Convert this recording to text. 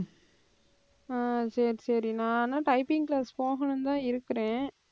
அஹ் சரி சரி நானு typing class போகணும்னுதான் இருக்கிறேன்